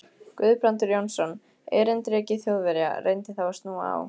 Guðbrandur Jónsson, erindreki Þjóðverja, reyndi þá að snúa á